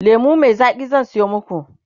lemu Mai Zaki zan Sayo maku